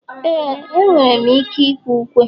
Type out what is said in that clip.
ee, enwere m ike ịkwe ukwe